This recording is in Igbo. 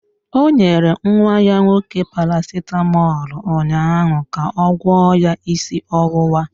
Ọ nyere nwa ya nwoke Paracetamọl ụnyaahụ ga ọ gwọọ ya isi ọwụwa